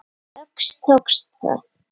Loks tókst það.